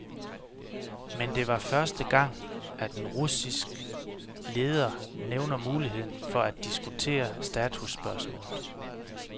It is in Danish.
Men det var første gang, at en russisk ledere nævner muligheden for at diskutere statusspørgsmålet.